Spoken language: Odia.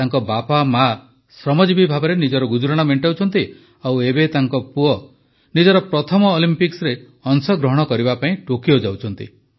ତାଙ୍କ ବାପାମାଆ ଶ୍ରମଜୀବି ଭାବେ ନିଜର ଗୁଜୁରାଣ ମେଣ୍ଟାଉଛନ୍ତି ଆଉ ଏବେ ତାଙ୍କ ପୁଅ ନିଜର ପ୍ରଥମ ଅଲିମ୍ପିକ୍ସରେ ଅଂଶଗ୍ରହଣ କରିବା ପାଇଁ ଟୋକିଓ ଯାଉଛନ୍ତି